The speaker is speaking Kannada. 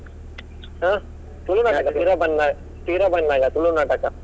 ಆ ಪಿರ ಬನ್ನಗ ತುಳು ನಾಟಕ.